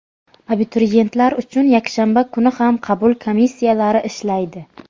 Abituriyentlar uchun yakshanba kuni ham qabul komissiyalari ishlaydi.